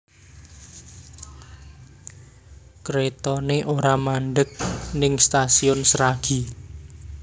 Kretone ora mandheg ning Stasiun Sragi